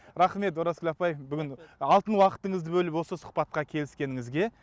рахмет оразгүл апай бүгін алтын уақытыңызды бөліп осы сұхбатқа келіскеніңізге